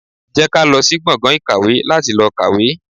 Jẹ́ ká lọ sí gbọ̀ngàn ìkàwé láti lọ kàwé.